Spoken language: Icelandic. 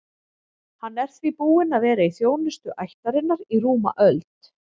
Hann er því búinn að vera í þjónustu ættarinnar í rúma öld.